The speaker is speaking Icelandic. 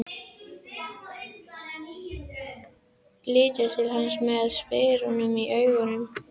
Hún lítur til hans með spurn í augunum.